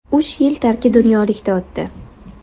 Uch yil tarki dunyolikda o‘tdi.